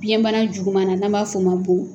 Biyɛn bana juguman na n'an b'a fɔ o ma bon